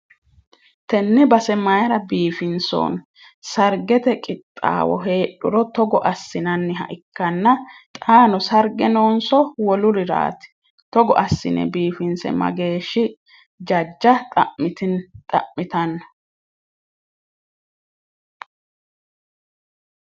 tenne base mayiira biifinsoonni? sargete qixxaawo heedhuro togo assinanniha ikkanna xaano sarge noonso woluriraati? togo assine biifisa mageeshshi jajja xa'mitanno?